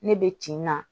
Ne bɛ tin na